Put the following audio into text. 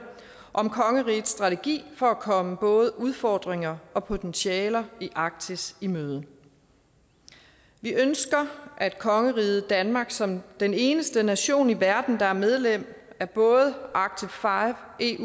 om kongerigets strategi for at komme både udfordringer og potentialer i arktis i møde vi ønsker at kongeriget danmark som den eneste nation i verden der er medlem af både arctic